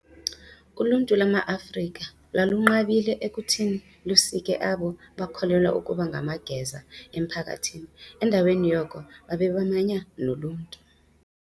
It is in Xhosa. Uluntu lwamaAfrika lwalunqabile ekuthini lusike abo bakholelwa ukuba ngamageza emphakathini, endaweni yoko, babebamanya noluntu.